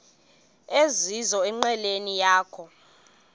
ezizizo enqileni yakho